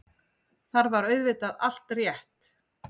Þar var auðvitað allt rétt.